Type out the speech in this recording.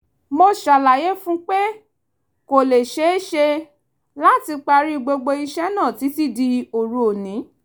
mo ṣàlàyé fún un pé kò lè ṣeé ṣe láti parí gbogbo iṣẹ́ náà títí di òru òní